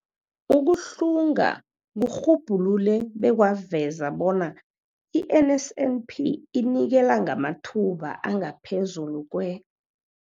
Ukuhlunga kurhubhulule bekwaveza bona i-NSNP inikela ngamathuba angaphezulu kwe-